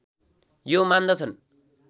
यो मान्दछन्